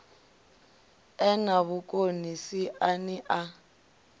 e na vhukoni siani ḽa